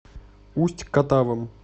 усть катавом